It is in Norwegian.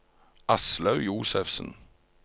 Aslaug Josefsen